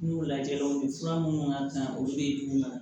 N'u lajɛw ni fura minnu ka kan olu bɛ d d'u ma